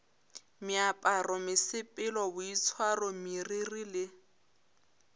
meaparo mesepelo boitshwaro meriri le